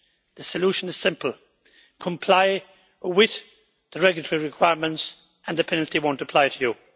The solution is simple comply with the regulatory requirements and the penalty will not apply to you.